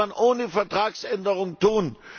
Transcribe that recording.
Das könnte man ohne Vertragsänderung tun.